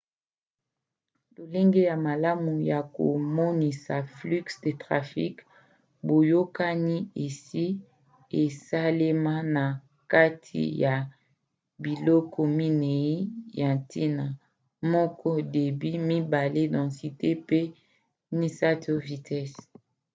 lolenge ya malamu ya komonisa flux de trafic boyokani esi esalema na kati ya biloko minei ya ntina: 1 débit 2 densité mpe 3 vitese